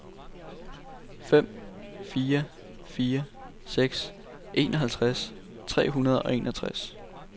fem fire fire seks enoghalvtreds tre hundrede og enogtres